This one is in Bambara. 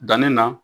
Danni na